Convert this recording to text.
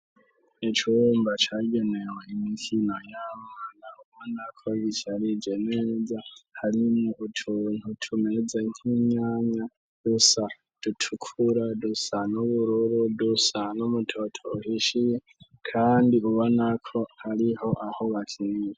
Ec uwumba cagenewe imikino yamana uuba nako zicarije neza harimwo utuntu tumeze nk'imyanya dusa dutukura dusan'ubururu dusano umutoto uhishiye, kandi uba nako ariho aho bakinze.